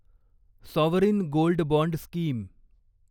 sovereign gold bond scheme